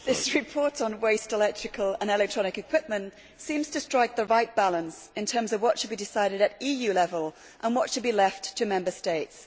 Mr President, this report on waste electrical and electronic equipment seems to strike the right balance in terms of what should be decided at EU level and what should be left to Member States.